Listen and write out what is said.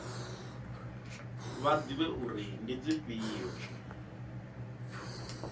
vha ḓivhe uri ndi dzifhio